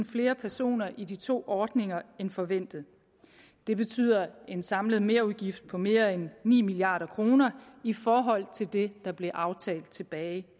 flere personer i de to ordninger end forventet det betyder en samlet merudgift på mere end ni milliard kroner i forhold til det der blev aftalt tilbage